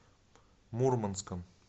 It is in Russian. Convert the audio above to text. мурманском